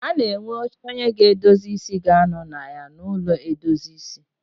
A na enwe oche onye a ga-edozi ịsị ga anọ na ya n'ụlọ edozi ịsị